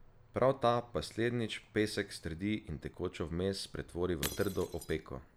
Prav ta pa slednjič pesek strdi in tekočo zmes pretvori v trdo opeko.